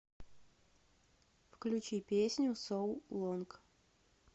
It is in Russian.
включи песню соу лонг